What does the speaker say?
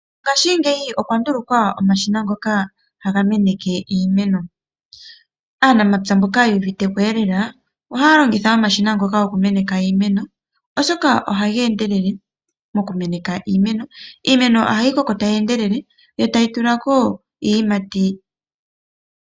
Ngaashingeyi okwa ndulukwa omashina ngoka haga meneke imeno. Aanamapya mboka yu uviteko lela ohaya longitha omashina ngoka gokumeneka iimeno, hoka ohaga endelele mokumeneka iimeno. Iimeno ohayi koko tayi endelele yo tayi tula ko iiyimati.